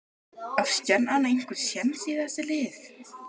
Á Stjarnan einhver séns í þessi lið?